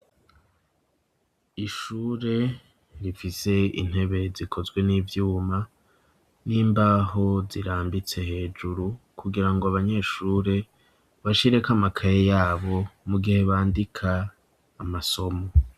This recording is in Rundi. Ishure rifise intebe zikozwe n'ivyuma n'imbaho zirambitse hejuru kugirango abanyeshure bashireko amakaye yabo mu gihe bandika amasomo.